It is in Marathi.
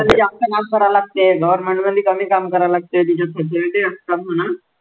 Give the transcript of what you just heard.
जास्त काम करावे लागते government मध्ये कमी करावे लागते, तिच्यात facility असतात म्हणा.